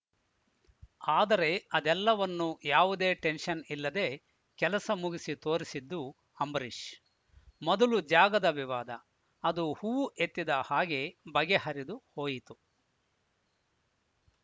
ಆದರೆ ಅದೆಲ್ಲವನ್ನು ಯಾವುದೇ ಟೆನೆಸ್ಷನ್‌ ಇಲ್ಲದೆ ಕೆಲಸ ಮುಗಿಸಿ ತೋರಿಸಿದ್ದು ಅಂಬರೀಷ್‌ ಮೊದಲು ಜಾಗದ ವಿವಾದ ಅದು ಹೂವು ಎತ್ತಿದ ಹಾಗೆ ಬಗೆಹರೆದು ಹೋಯಿತು